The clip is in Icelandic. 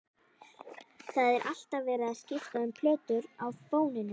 Það er alltaf verið að skipta um plötur á fóninum.